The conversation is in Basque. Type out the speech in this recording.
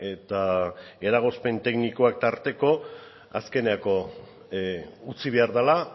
eta eragozpen teknikoak tarteko azkenerako utzi behar dela